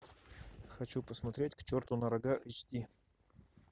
хочу посмотреть к черту на рога эйч ди